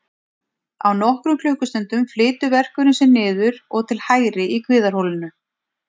Á nokkrum klukkustundum flytur verkurinn sig niður og til hægri í kviðarholinu.